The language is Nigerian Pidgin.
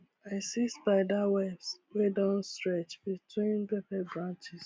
i see spider webs wey don stretch between pepper branches